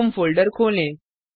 home folder खोलें